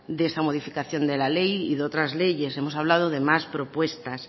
de esa modificación de la ley y de otras leyes hemos hablado de más propuestas